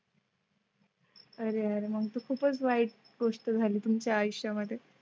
अरे अरे मग खूपच वाईट गोष्ट झाली तुमच्या आयुष्या मध्ये.